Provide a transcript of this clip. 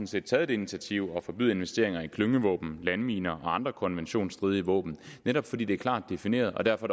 set taget det initiativ at forbyde investeringer i klyngevåben landminer og andre konventionsstridige våben netop fordi det er klart defineret og derfor